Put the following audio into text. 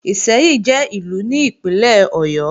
Ìṣẹ́yìn jẹ́ Ìlú ní Ìpínlẹ̀ Ọ̀yọ́